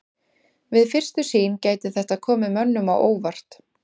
Við fyrstu sýn gæti þetta komið mönnum á óvart.